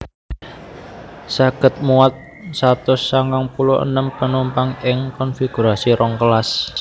Saged muat satus sangang puluh enem penumpang ing konfigurasi rong kelas